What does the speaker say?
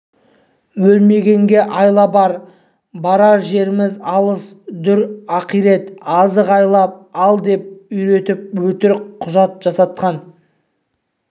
өлмегенге айла бар барар жеріміз алыс дүр ақирет азық сайлап ал деп үйретіп өтірік құжат жасатқан